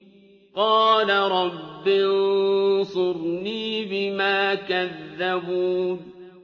قَالَ رَبِّ انصُرْنِي بِمَا كَذَّبُونِ